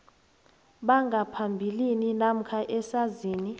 bangaphambilini namkha esazini